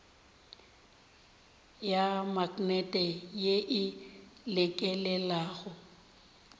ya maknete ye e lekelelago